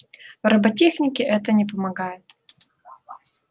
в роботехнике это не помогает